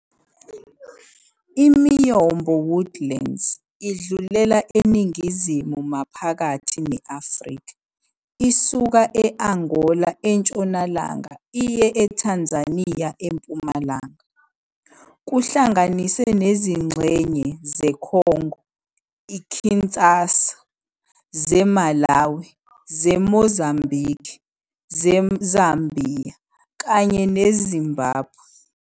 I-Miyombo woodlands idlulela eningizimu-maphakathi ne-Afrika, isuka e-Angola entshonalanga iye eThanzaniya empumalanga, kuhlanganise nezingxenye zeKhongo-KInshasa, zeMalawi, zeMozambiki, zeZambhiya, kanye neZimbabwe.